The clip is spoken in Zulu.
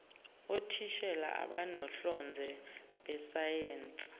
othishela abanohlonze besayense